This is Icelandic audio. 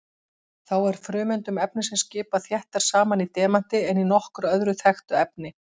Þá er frumeindum efnisins skipað þéttar saman í demanti en í nokkru öðru þekktu efni.